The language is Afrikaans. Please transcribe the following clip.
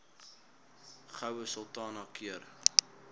goue sultana keur